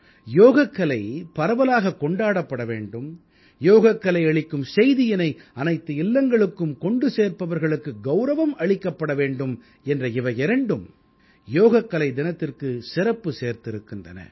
யோகக்கலை பரவலாகக் கொண்டாடப்பட வேண்டும் யோகக்கலை அளிக்கும் செய்தியினை அனைத்து இல்லங்களுக்கும் கொண்டு சேர்ப்பவர்களுக்கு கௌரவம் அளிக்கப்பட வேண்டும் என்ற இவையிரண்டும் யோகக்கலை தினத்திற்குச் சிறப்பு சேர்ந்திருக்கின்றன